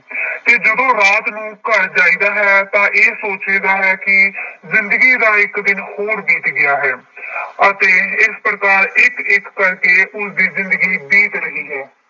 ਤੇ ਜਦੋਂ ਰਾਤ ਨੂੰ ਘਰ ਜਾਈਦਾ ਹੈ ਤਾਂ ਇਹ ਸੋਚੀਦਾ ਹੈ ਕਿ ਜ਼ਿੰਦਗੀ ਦਾ ਇੱਕ ਦਿਨ ਹੋਰ ਬੀਤ ਗਿਆ ਹੈ ਅਤੇ ਇਸ ਪ੍ਰਕਾਰ ਇੱਕ ਇੱਕ ਕਰਕੇ ਉਸਦੀ ਜ਼ਿੰਦਗੀ ਬੀਤ ਰਹੀ ਹੈ।